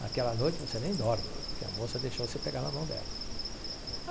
Naquela noite você nem dorme, porque a moça deixou você pegar na mão dela.